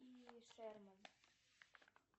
шерман